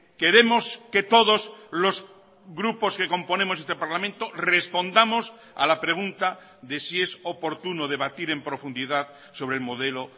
queremos que todos los grupos que componemos este parlamento respondamos a la pregunta de si es oportuno debatir en profundidad sobre el modelo